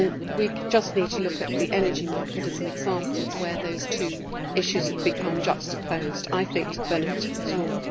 We just need to look at the energy market as an example of where those two issues have become juxtaposed, I think to the benefit of us all.